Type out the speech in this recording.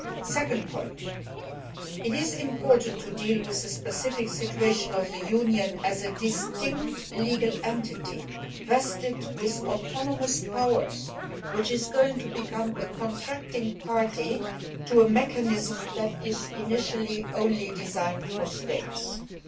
Secondly, it is important to deal with the specific situation of the Union as a distinct legal entity vested with autonomous powers that is going to become a contracting Party to a mechanism initially designed for States only.